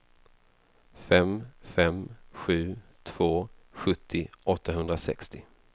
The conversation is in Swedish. fem fem sju två sjuttio åttahundrasextio